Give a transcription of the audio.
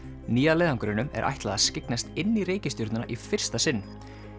nýja leiðangrinum er ætlað að skyggnast inn í reikistjörnuna í fyrsta sinn